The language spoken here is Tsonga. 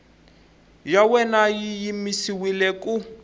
ya wena yi yimisiwile ku